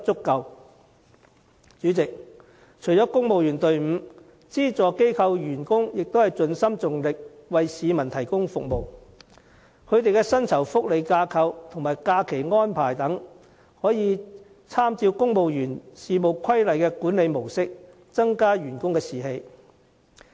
代理主席，除了公務員隊伍外，資助機構員工也盡心盡力為市民提供服務，他們的薪酬福利架構和假期安排等，亦應參照《公務員事務規例》的管理模式，以增加士氣。